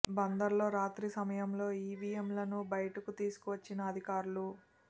బందర్ లో రాత్రి సమయంలో ఈవీఎంలను బయటకు తీసుకు వచ్చిన అధికారులు